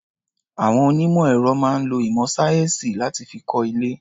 Àwon onímọ̀ ẹ̀rọ máa ń lo ìmọ̀ sáyẹ́ǹsì láti fi kọ́ ilé.